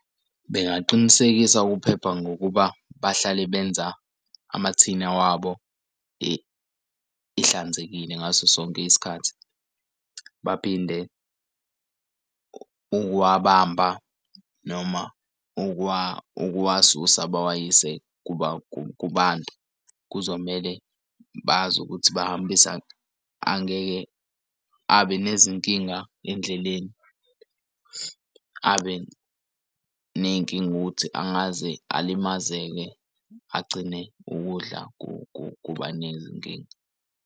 Bengaqinisekisa ukuphepha ngokuba bahlale benza amathina wabo ehlanzekile ngaso sonke isikhathi. Baphinde ukuwabamba noma ukuwasusa baxwayise kubantu. Kuzomele bazi ukuthi bahambisa angeke abe nezinkinga endleleni abe ney'nkinga ukuthi angaze alimazeke agcine ukudla kuba nezinkinga.